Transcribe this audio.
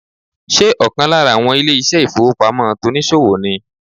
Ṣé ọ̀kan lára àwọn ilé ìṣẹ́ ìfowópamọ́ tonìsòwò ni